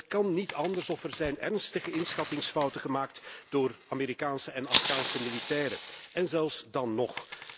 Het kan niet anders of er zijn ernstige inschattingsfouten gemaakt door Amerikaanse en Afghaanse militairen en zelfs dan nog.